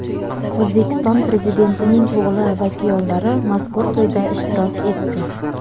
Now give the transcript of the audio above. O‘zbekiston Prezidentining o‘g‘li va kuyovlari mazkur to‘yda ishtirok etdi.